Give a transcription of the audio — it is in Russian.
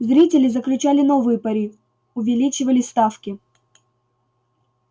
зрители заключали новые пари увеличивали ставки